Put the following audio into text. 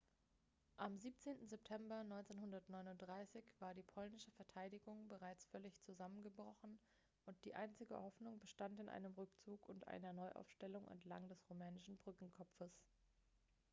am 17. september 1939 war die polnische verteidigung bereits völlig zusammengebrochen und die einzige hoffnung bestand in einem rückzug und einer neuaufstellung entlang des rumänischen brückenkopfes